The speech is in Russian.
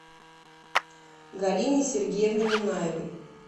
галине сергеевне минаевой